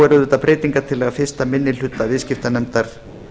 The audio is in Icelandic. er auðvitað breytingartillaga fyrsti minni hluta viðskiptanefndar